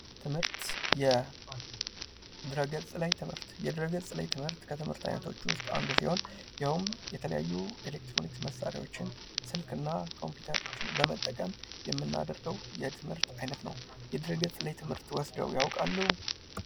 ትምህርት ፦ የድህረገፅ ላይ ትምህርት ፦ የድህረገፅ ላይ ትምህርት ከትምህርት አይነቶች ውስጥ አንዱ ሲሆን ያውም የተለያዩ ኤሌክትሮኒክስ መሣሪያዎችን ስልክ እና ኮምፒዩተሮችን በመጠቀም የምናድርገው የትምህርት አይነት ነው ። የድህረገፅ ላይ ትምህርት ወስደው ያውቃሉ ?